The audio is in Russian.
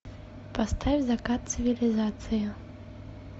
поставь закат цивилизации